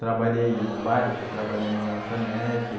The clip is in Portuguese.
Trabalhei no bar, depois trabalhei numa lanchonete.